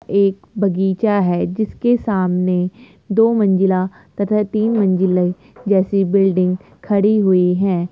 एक बगीचा है जिसके सामने दो मंजिला तथा तीन मंजिले जैसी बिल्डिंग खड़ी हुई हैं।